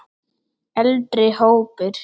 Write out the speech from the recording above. Eldri hópur